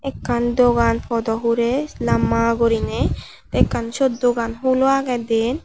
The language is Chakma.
ekkan dogan podow hurey lamma guriney ekkan siyot dogan hulo agey diyen.